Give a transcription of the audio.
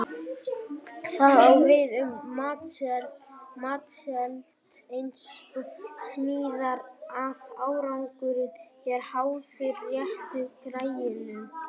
Það á við um matseld eins og smíðar að árangurinn er háður réttu græjunum.